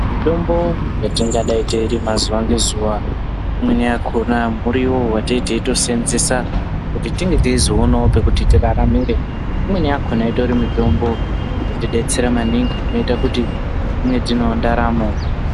Mitombo yetingadai teirima zuwa ngezuwa imweni yakhona muriwo wate teitoseenzesa kuti tinge teizoonawo pekuti tiraramire imweni yakhona itori mitombo inotidetsera maningi inoita kuti tinge tinewo ndaramo.